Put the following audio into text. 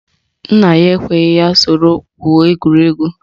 Nna ya ekweghi ya soro gwuo egwuregwu